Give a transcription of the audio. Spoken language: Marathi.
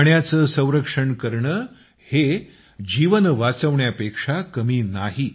पाण्याचं संरक्षण करणं हे जीवन वाचवण्यापेक्षा कमी नाही